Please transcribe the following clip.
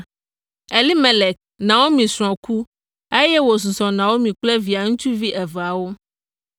Elimelek, Naomi srɔ̃ ku, eye wòsusɔ Naomi kple via ŋutsu eveawo.